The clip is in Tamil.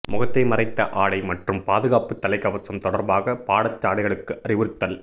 முகத்தை மறைத்த ஆடை மற்றும் பாதுகாப்பு தலைக்கவசம் தொடர்பாக பாடசாலைகளுக்கு அறிவுறுத்தல்